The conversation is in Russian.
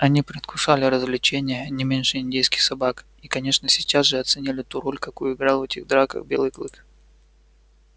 они предвкушали развлечение не меньше индейских собак и конечно сейчас же оценили ту роль какую играл в этих драках белый клык